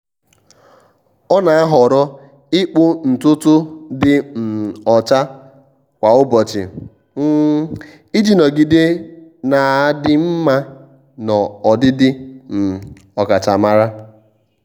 ọ́ nà-àhọ́rọ́ ị́kpụ́ ntùtù dị um ọ́chá kwa ụ́bọ̀chị̀ um iji nọgide nà-ádị́ mma na ọdịdị um ọ́kàchàmàrà.